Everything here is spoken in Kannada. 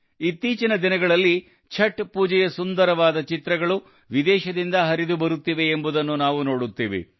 ಇತ್ತೀಚಿನ ದಿನಗಳಲ್ಲಿ ಛಠ್ ಪೂಜೆಯ ಸುಂದರವಾದ ಚಿತ್ರಗಳು ವಿದೇಶದಿಂದ ಹರಿದು ಬರುತ್ತಿವೆ ಎಂಬುದನ್ನು ನಾವು ನೋಡುತ್ತೇವೆ